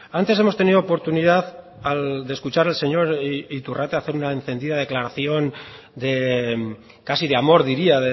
antes hemos tenido oportunidad de escuchar al señor iturrate hacer una encendida declaración casi de amor diría